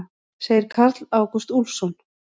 Segir Karl Ágúst Úlfsson.